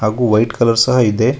ಹಾಗು white colour ಸಹ ಇದೆ.